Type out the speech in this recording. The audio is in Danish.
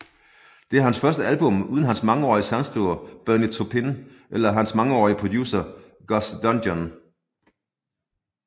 Det er hans første album uden hans mangeårige sangskriver Bernie Taupin eller hans mangeårige producent Gus Dudgeon